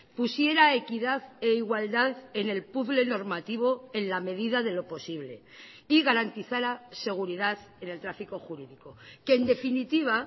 pusiera equidad e igualdad en el puzzle normativo en la medida de lo posible y garantizara seguridad en el tráfico jurídico que en definitiva